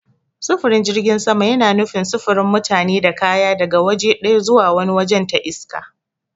Sufurin jirgin sama yana nufin sufurin mutane da kaya daga waje ɗaya zuwa wani wajen ta iska.